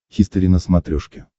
хистори на смотрешке